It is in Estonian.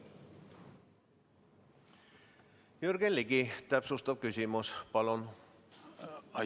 Jürgen Ligi, täpsustav küsimus, palun!